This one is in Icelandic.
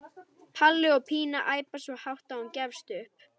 Palli og Pína æpa svo hátt að hún gefst upp.